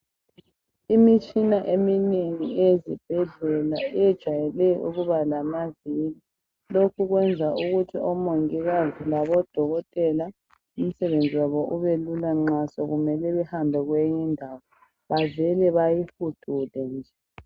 Imitshina eminengi eyezibhedlela yejwayele ukuba lamavili , lokhu kwenza ukuthi omongikazi labodokotela umsebenzi wabo ubelula nxa sokumele bahambe kwenye indawo bavele beyihudule nje